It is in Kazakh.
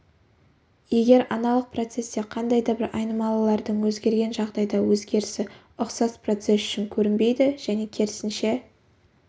егер аналық процесте қандай да бір айнымалылардың өзгерген жағдайда өзгерісі ұқсас процесс үшін көрінбейді және керісінше